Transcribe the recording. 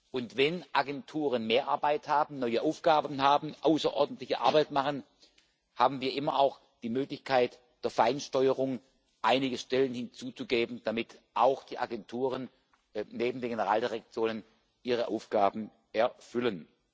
Und wenn Agenturen mehr Arbeit haben, neue Aufgaben haben, außerordentliche Arbeit machen, haben wir immer auch die Möglichkeit der Feinsteuerung, einige Stellen hinzuzugeben, damit auch die Agenturen neben den Generaldirektionen ihre Aufgaben erfüllen.